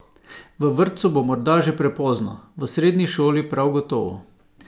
V vrtcu bo morda že prepozno, v sredni šoli prav gotovo!